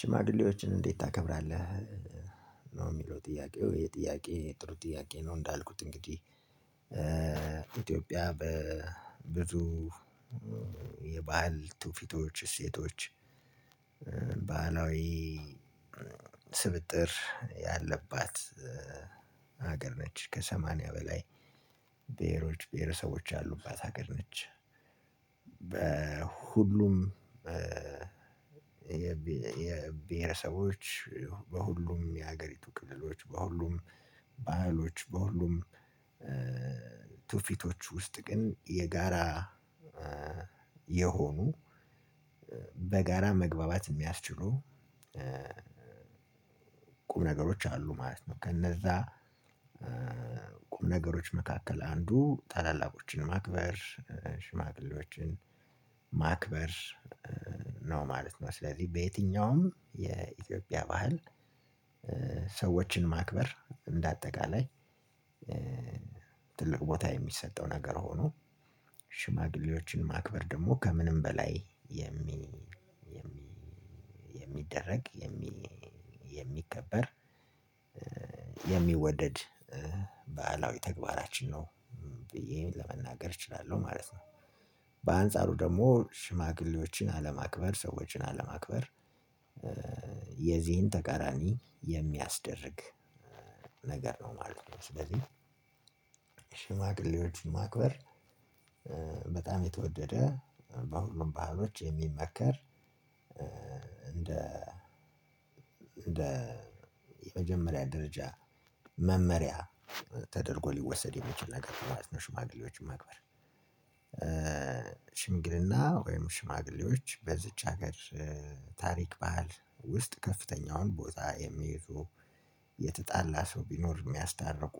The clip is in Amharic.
ሽማግሌዎችን እንዴት ታከብራለህ? ነው የሚለው ጥያቄው ይህ ጥያቄ ጥሩ ጥያቄ ነው። እንዳልኩት እንግዲህ ኢትዮጵያ በብዙ የባህል ትውፊቶች እሴቶች ባህላዊ ስብጥር ያለባት ሀገር ነች ከሰማንያ በላይ ብሄሮች ብሄረሰቦች ያሉባት ሀገር ነች። በሁሉም የብሄረሰቦች በሁሉም የሀገሪቱ ክልሎች በሁሉም ባህሎች በሁሉም ትውፊቶች ውስጥ ግን የጋራ የሆኑ በጋራ መግባባት የሚያስችሉ ቁም ነገሮች አሉ ማለት ነው። ከነዛ ቁም ነገሮች መካከል አንዱ ታላላቆችን ማክበር ሽማግሌዎችን ማክበር ነው ማለት ነው። ስለዚህ በየትኛውም የኢትዮጵያ ባህል ሰዎችን ማክበር እንደ አጠቃላይ ትልቅ ቦታ የሚሰጠው ነገር ሆኖ ሽማግሌዎችን ማክበር ደግሞ ከምንም በላይ የሚደረግ የሚከበር የሚከበር የሚወደድ ባህላዊ ተግባራችን ነው። ብዬ ለመናገር እችላለው ማለት ነው። በአንጻሩ ደግሞ ሽማግሌዎችን አለማክበር ሰዎችን አለማክበር የዚህን ተቃራኒ የሚያስደርግ ነገር ነው ማለት ነው። ስለዚህ ሽማግሌዎች ማክበር በጣም የተወደደ በሁሉም ባህሎች የሚመከር እንደ እንደ የመጀመሪያ ደረጃ መመሪያ ተደርጎ ሊወሰድ የሚችል ነገር ማለት ነው። ሽማግሌዎችን ማክበር ሽምግልና ወይም ሽማግሌዎች በዚች ሀገር ታሪክ ባህል ውስጥ ከፍተኛውን ቦታ የሚይዙ የተጣላ ሰው ቢኖር የሚያስታርቁ።